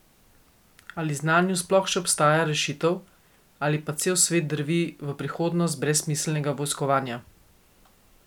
Ali zanju sploh še obstaja rešitev, ali pa cel svet drvi v prihodnost brezsmiselnega vojskovanja?